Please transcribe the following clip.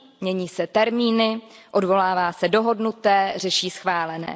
Mění se termíny, odvolává se dohodnuté, řeší schválené.